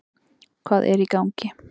Hvað er í gangi?